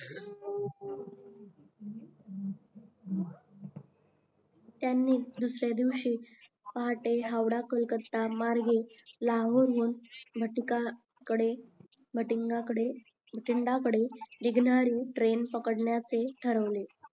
त्यांनी दुसर्यादिवशी पहाटे हावडा कोलकत्ता मार्गे लाहोरहून भातिका कडे भटिंडा कडे निघणारी ट्रेन पकडण्याचे ठरविले